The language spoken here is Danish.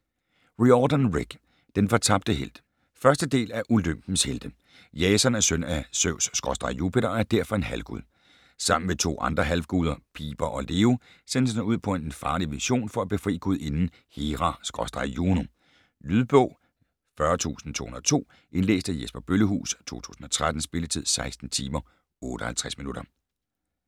Riordan, Rick: Den fortabte helt 1. del af Olympens helte. Jason er søn af Zeus/Jupiter og er derfor en halvgud. Sammen med to andre halvguder, Piper og Leo, sendes han ud på en farlig mission for at befri gudinden Hera/Juno. Lydbog 40202 Indlæst af Jesper Bøllehuus, 2013. Spilletid: 16 timer, 58 minutter.